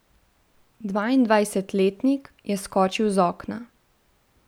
Dvaindvajsetletnik je skočil z okna.